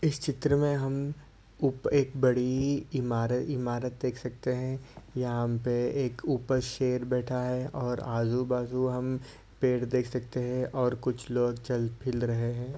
इस चित्र में हम ऊप एक बड़ी इमार इमारत देख सकते हैं यहाँ हम पे ऊपर एक शेर बैठा है और आजू बाजू हम पेड़ देख सकते हैं और कुछ लोग चल फिल रहे हैं।